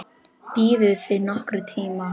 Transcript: Biðuð þið nokkurn tíma?